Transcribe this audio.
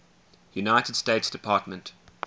united states department